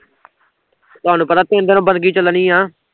ਤੁਹਾਨੂੰ ਪਤਾ ਤਿੰਨ ਦਿਨ ਬੰਦਗੀ ਚਲਣੀ ਆ